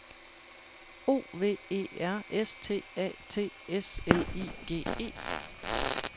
O V E R S T A T S L I G E